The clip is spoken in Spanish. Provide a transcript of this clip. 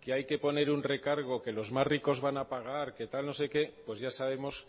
que hay que poner un recargo que los más ricos van a pagar que tal no sé qué pues ya sabemos